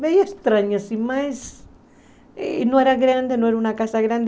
Meio estranho, assim, mas... E não era grande, não era uma casa grande.